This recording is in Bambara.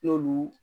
N'olu